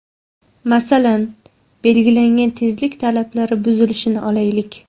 Masalan, belgilangan tezlik talablari buzilishini olaylik.